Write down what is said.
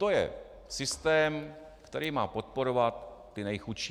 To je systém, který má podporovat ty nejchudší.